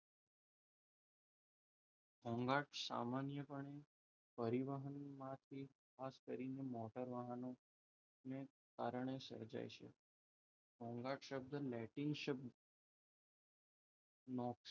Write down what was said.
ઘોઘાટ સામાન્ય પણે પરિવહન માંથી ખાસ કરીને મોટર વાહનોને કારણે સર્જાય છે. ઘોંઘાટ શબ્દ લેટિન શબ્દ નો,